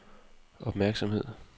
opmærksomhed